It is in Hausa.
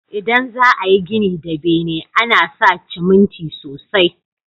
Idan za a yi gini da bene, ana sa ciminti sosai.